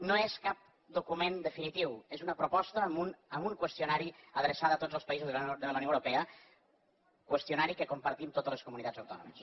no és cap document definitiu és una proposta amb un qüestionari adreçada a tots els països de la unió europea qüestionari que compartim totes les comunitats autònomes